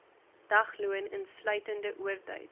dagloon insluitende oortyd